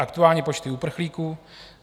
Aktuální počty uprchlíků.